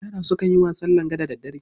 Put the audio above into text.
Yara sukan yin wasan langa da daddare.